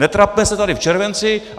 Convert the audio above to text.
Netrapme se tady v červenci.